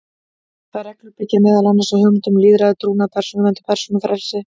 Þær reglur byggja meðal annars á hugmyndum um lýðræði, trúnað, persónuvernd og persónufrelsi.